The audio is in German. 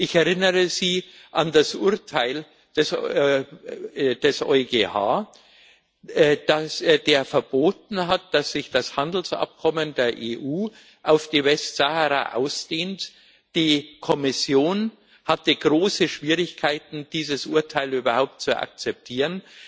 Ich erinnere Sie an das Urteil des EuGH Er hat verboten, dass sich das Handelsabkommen der EU auf die Westsahara ausdehnt. Die Kommission hatte große Schwierigkeiten, dieses Urteil überhaupt zu akzeptieren.